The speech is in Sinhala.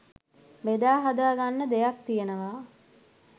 බෙදාහදාගන්න දෙයක් තියෙනවා..